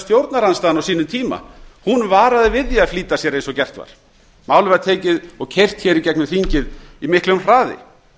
stjórnarandstaðan á sínum tíma varaði við því að flýta sér eins og gert var málið var tekið og keyrt hér í gegnum þingið í miklu hraði